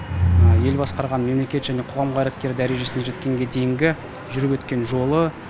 ел басқарған мемлекет және қоғам қайраткері дәрежесіне жеткенге дейінгі жүріп өткен жолы